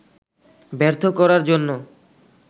ব্যর্থ করার জন্য